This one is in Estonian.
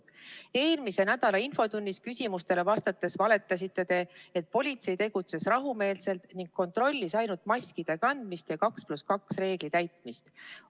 " Eelmise nädala infotunnis küsimustele vastates valetasite te, et politsei tegutses rahumeelselt ning kontrollis ainult maskide kandmise ja 2 + 2 reegli täitmist.